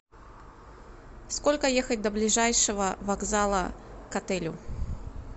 сколько ехать до ближайшего вокзала к отелю